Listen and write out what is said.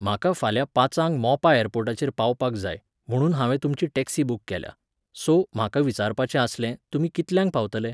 म्हाका फाल्यां पांचांक मोपा ऍरपोर्टाचेर पावपाक जाय, म्हुणून हांवें तुमची टॅक्सी बूक केल्या. सो, म्हाका विचारपाचें आसलें, तुमी कितल्यांक पावतले?